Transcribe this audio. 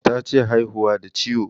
Tace haihuwa da ciwo